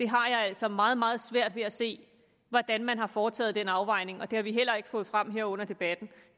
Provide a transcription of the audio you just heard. har altså meget meget svært ved at se hvordan man har foretaget den afvejning og det har vi heller ikke fået frem her under debatten